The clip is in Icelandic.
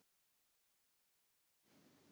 Guðrún okkar!